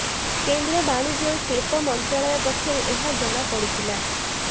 କେନ୍ଦ୍ର ବାଣିଜ୍ୟ ଓ ଶିଳ୍ପ ମନ୍ତ୍ରାଳୟ ପକ୍ଷରୁ ଏହା ଜଣାପଡ଼ିଥିଲା